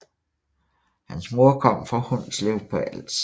Hans mor kom fra Hundslev på Als